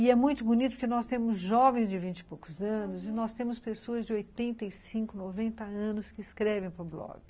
E é muito bonito porque nós temos jovens de vinte e poucos anos e nós temos pessoas de oitenta e cinco, noventa anos que escrevem para o blog.